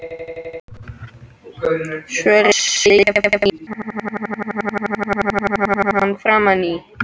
Svo reynir Vaskur að sleikja hann í framan.